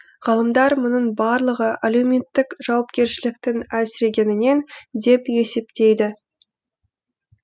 ғалымдар мұның барлығы әлеуметтік жауапкершіліктің әлсірегенінен деп есептейді